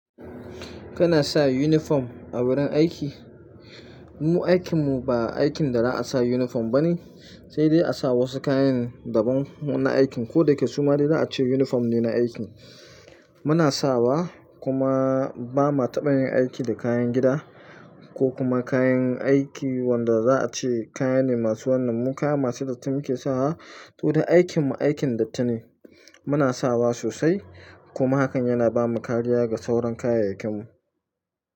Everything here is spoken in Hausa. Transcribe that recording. Kana sa uniform a wurin aiki? Mu aikin mu ba aikin da za a sa uniform bane, sai dai a sa wasu kayan daban na aikin ko da yake suma dai za a ce uniform ne na aikin. Muna sawa kuma ba ma taɓa yin aiki da kayan gida ko kuma kayan aiki wanda za a ce kaya ne masu wannan mu kayane masu datti muke sawa. To da aikin mu aikin dattine, muna sawa sosai kuma hakan yana bamu kariya ga sauran kayayyakin mu.